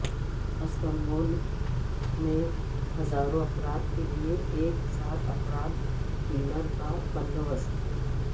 Istanbul میں ہزاروں افراد کے لیے ایک ساتھ افطار ڈنر کا بندو بست